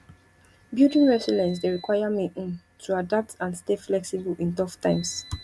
building resilience dey require me um to adapt and stay flexible in tough times